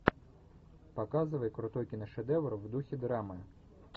показывай крутой киношедевр в духе драмы